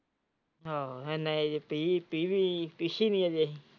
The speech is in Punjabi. ਆਹੋ ਨਹੀਂ ਜੀ ਪਿਸੀ ਨਹੀਂ ਅੱਜੇ।